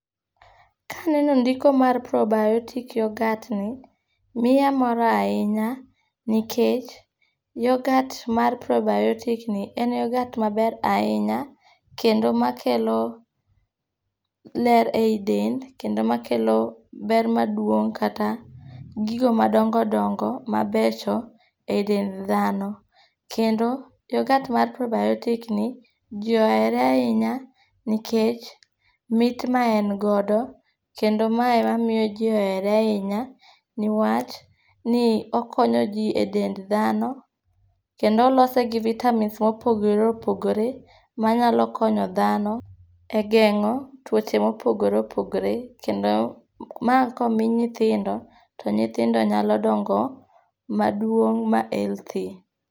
Ka aneno ndiko mar probiotic yoghurt ni miya mor ahinya, nikech yoghurt mar probiotic ni en yoghurt maber ahinya, kendo makelo ler ei dend. Kendo makelo ber maduong' kata gigo madongo dongo mabecho e dend dhano. Kendo yoghurt mar probiotic ni ji ohere ahinya, nikech mit ma en godo, kendo mae ema miyo ji ohere ahinya. Niwach ni okonyo ji e dend dhano. Kendo olose gi vitamins mopogore opogore, manaylo konyo dhano e gengó twoche mopogore opogore. Kendo, mae komi nyithindo, to nyithindo nyalo dongo ma duong' ma healthy.